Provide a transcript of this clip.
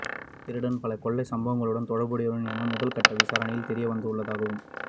இத்திருடன் பல கொள்ளைச் சம்பவங்களுடன் தொடர்புடையவர் என முதல்கட்ட விசாரணைகளின் மூலம் தெரியவந்துள்ளதாகவும்